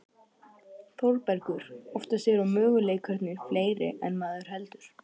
ÞÓRBERGUR: Oftast eru möguleikarnir fleiri en maður heldur.